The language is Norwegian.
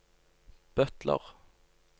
butler